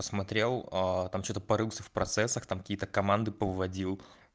посмотрел там что-то порылся в процессах там какие-то команды повыводил